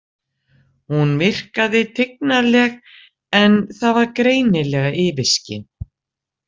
Hún virkaði tignarleg en það var greinilega yfirskin.